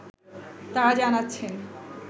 তাঁরা জানাচ্ছেন